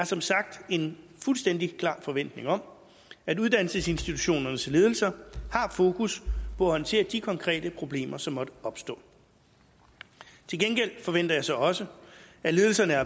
som sagt en fuldstændig klar forventning om at uddannelsesinstitutionernes ledelser har fokus på at håndtere de konkrete problemer som måtte opstå til gengæld forventer jeg så også at ledelserne er